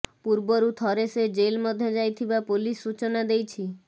ପୂର୍ବରୁ ଥରେ ସେ ଜେଲ ମଧ୍ୟ ଯାଇଥିବା ପୋଲିସ ସୂଚନା ଦେଇଛି